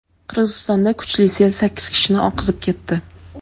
Qirg‘izistonda kuchli sel sakkiz kishini oqizib ketdi.